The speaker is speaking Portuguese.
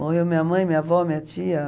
Morreu minha mãe, minha avó, minha tia.